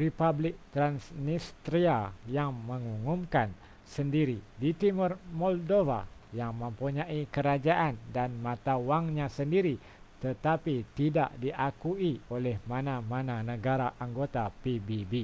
republik transnistria yang mengumumkan sendiri di timur moldova yang mempunyai kerajaan dan mata wangnya sendiri tetapi tidak diakui oleh mana-mana negara anggota pbb